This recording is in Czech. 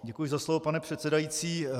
Děkuji za slovo, pane předsedající.